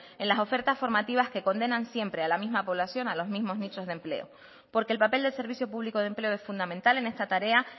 en las ofertas formativas que condenan siempre a la misma población a los mismos nichos de empleo porque el papel del servicio público de empleo es fundamental en esta tarea